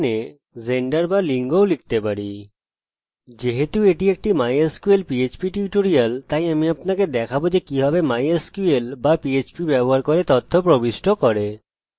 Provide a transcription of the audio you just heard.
যেহেতু এটি mysql php tutorial তাই আমি আপনাকে দেখাবো যে কিভাবে mysql বা php ব্যবহার করে তথ্য প্রবিষ্ট করে